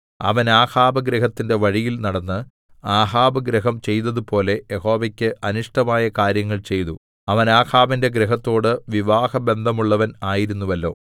അവൻ ആഹാബ് ഗൃഹത്തിന്റെ വഴിയിൽ നടന്ന് ആഹാബ് ഗൃഹം ചെയ്തതുപോലെ യഹോവയ്ക്ക് അനിഷ്ടമായ കാര്യങ്ങൾ ചെയ്തു അവൻ ആഹാബിന്റെ ഗൃഹത്തോട് വിവാഹബന്ധമുള്ളവൻ ആയിരുന്നുവല്ലോ